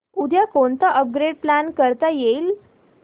उद्या कोणतं upgrade plan करता येईल